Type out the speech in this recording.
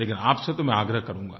लेकिन आपसे तो मैं आग्रह करूँगा